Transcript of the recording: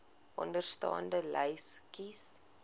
onderstaande lys kies